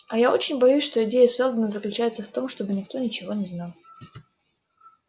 а я очень боюсь что идея сэлдона заключается в том чтобы никто ничего не знал